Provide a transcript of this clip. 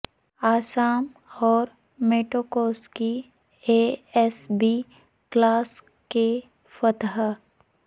اعصام اور Matkowski A S B classic کے فاتح